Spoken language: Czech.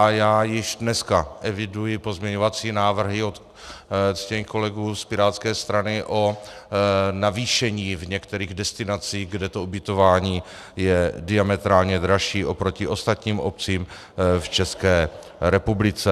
A já již dneska eviduji pozměňovací návrhy od ctěných kolegů z pirátské strany o navýšení v některých destinacích, kde to ubytování je diametrálně dražší oproti ostatním obcím v České republice.